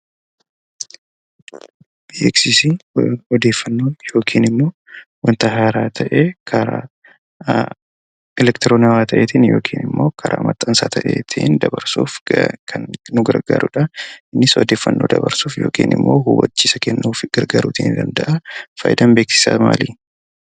Beeksisni odeeffannoo yookiin wanta haaraa ta'ee karaa elektiroonawwaa ta'eenii fi karaa maxxansa ta'een dabarsuuf kan nu gargaaruudha. Innis odeeffannoo dabarsuuf yookiin immoo hubbachiisa kennuuf gargaaruu ni danda'a. Fakkeenyaaf faayidaan beeksisaa maal?